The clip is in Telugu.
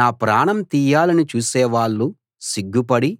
నా ప్రాణం తీయాలని చూసేవాళ్ళు సిగ్గుపడి